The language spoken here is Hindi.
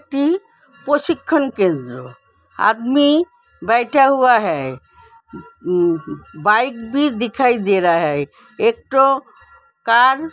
ई प्रशिक्षण केंद्र ह। आदमी बैठा हुआ है। बाइक भी दिखाई दे रहा है। एक ठो कार --